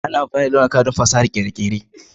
Ana amfani da launuka don fasahar kere kere